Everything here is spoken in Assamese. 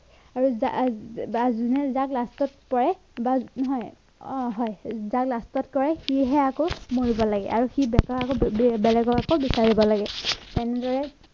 আৰু জা বা জোনে যাক last ত পৰে বা নহয় অ হয় যাক last ত কয় সিহে আকৌ মাৰিব লাগে আৰু বেঁকা আকৌ বেলেগক আকৌ বিচাৰিব লাগে তেনেদৰে